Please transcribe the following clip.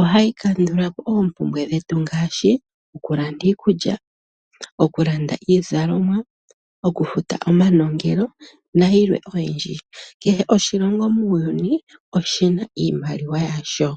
ohayi kandulapo oompumbwe dhetu ngaashi okulanda iikulya, okulanda iizalomwa, okufuta omanongelo nayilwe oyindji. Kehe oshilongo muuyuni oshina iimaliwa yasho.